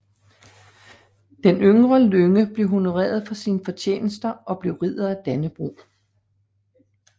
Den yngre Lynge blev honoreret for sine fortjenester og blev Ridder af Dannebrog